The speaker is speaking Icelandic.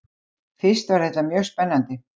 Fyrst var þetta mjög spennandi.